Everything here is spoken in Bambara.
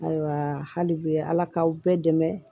Ayiwa hali bi ala k'aw bɛɛ dɛmɛ